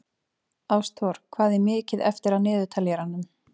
Ástþór, hvað er mikið eftir af niðurteljaranum?